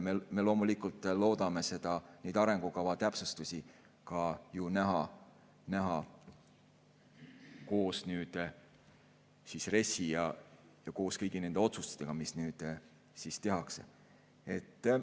Me loomulikult loodame neid arengukava täpsustusi ka ju näha koos RES‑i ja koos kõigi nende otsustega, mis nüüd tehakse.